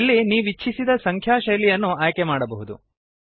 ಇಲ್ಲಿ ನೀವು ನೀವಿಚ್ಛಿಸಿದ ಸಂಖ್ಯಾ ಶೈಲಿಯನ್ನು ಆಯ್ಕೆಮಾಡಬಹುದು